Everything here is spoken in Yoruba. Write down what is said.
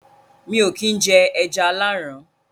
mi ò kín jẹ “ẹja aláàrán”